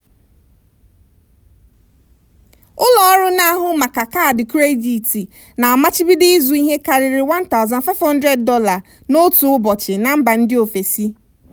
ụlọọrụ na-ahụ maka kaadị kredit na-amachibido ịzụ ihe karịrị $1500 n'otu ụbọchị na mba ndị ofesi.